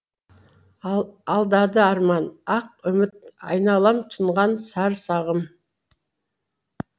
алдады арман ақ үміт айналам тұнған сар сағым